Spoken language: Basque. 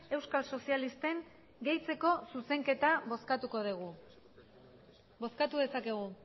euskal sozialisten gehitzeko zuzenketa bozkatuko dugu bozkatu dezakegu